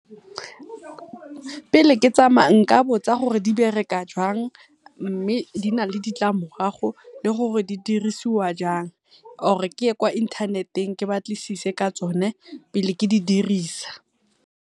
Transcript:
Pele ke ke tsamaya nka botsa gore di bereka jang mme di na le ditlamorago le gore di dirisiwa jang, or ke ye kwa inthaneteng ke batlisise ka tsone pele ke di dirisa.